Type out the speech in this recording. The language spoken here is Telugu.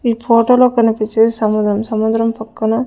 ఈ ఫోటో లో కనిపిచ్చేది సముదం సముద్రం పక్కన --